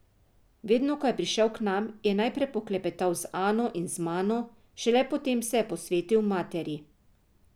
Vedno ko je prišel k nam, je najprej poklepetal z Ano in z mano, šele potem se je posvetil materi.